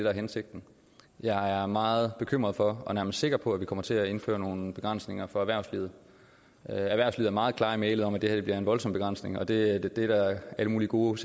er hensigten og jeg er meget bekymret for og nærmest sikker på at vi kommer til at indføre nogle begrænsninger for erhvervslivet erhvervslivet er meget klare i mælet om at det her bliver en voldsom begrænsning og det er der alle mulige gode